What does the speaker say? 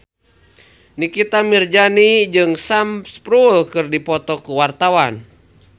Nikita Mirzani jeung Sam Spruell keur dipoto ku wartawan